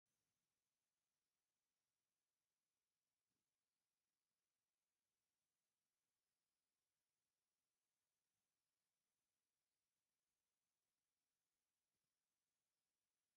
እዚ ዝረአ ዘሎ ኣብ መሬት ተደፊኡ ዓበይቲ ቀጠልያ ቆጽሊ ዘለዎ ተኽሊ የርኢ። ኣብ ዙርያኡ ከውሒን ሓመድን ዝበዝሖ ከባቢታት ኣሎ፡ ብድሕሪኡ ድማ ገዛን ዝተፈላለየ ኣቑሑትን ይረአ ኣሎ።